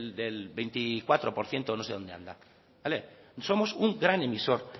del veinticuatro por ciento o no sé dónde anda somos un gran emisor